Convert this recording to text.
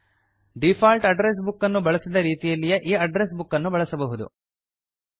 default address book ಅನ್ನು ಬಳಸಿದ ರೀತಿಯಲ್ಲೇ ಈ ಅಡ್ಡ್ರೆಸ್ ಬುಕ್ ಅನ್ನು ಬಳಸಬಹುದು